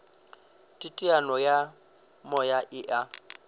teteano ya moya e a